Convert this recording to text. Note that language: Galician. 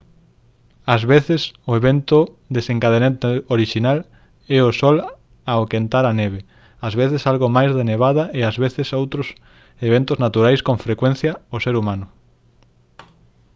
ás veces o evento desencadeante orixinal é o sol ao quentar a neve ás veces algo máis de nevada e ás veces outros eventos naturais con frecuencia o ser humano